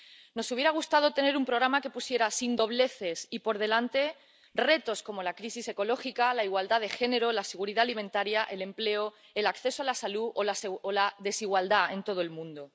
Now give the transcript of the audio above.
Nos hubiera gustado tener un programa que pusiera sin dobleces y por delante retos como la crisis ecológica, la igualdad de género, la seguridad alimentaria, el empleo, el acceso a la salud o la desigualdad en todo el mundo.